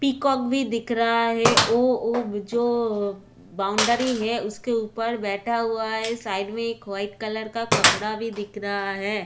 Peacock भी दिख रहा है ओ जो बाउंड्री है उसके ऊपर बैठा हुआ है साइड में वाइट कलर का कपड़ा भी दिख रहा है।